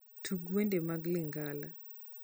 tug wende mag lingala